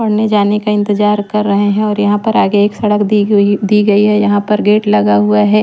पढ़ने जाने का इंतजार कर रहे हैं और यहां पर आगे एक सड़क दी हुए दी गई है यहां पर गेट लगा हुआ है।